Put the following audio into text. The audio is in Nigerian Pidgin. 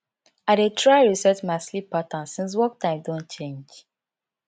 i dey try reset my sleep pattern since work time don change